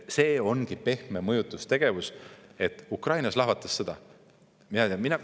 See ongi pehme mõjutustegevus: Ukrainas lahvatas sõda.